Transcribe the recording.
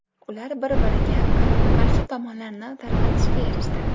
Ular bir-biriga qarama-qarshi tomonlarni tarqatishga erishdi.